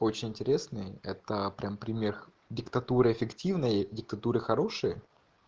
очень интересный это прямо пример диктатуры эффективное диктатуры хорошие